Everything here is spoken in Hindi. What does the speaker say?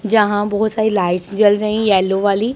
जहां बहोत सारी लाइट्स जल रही येलो वाली।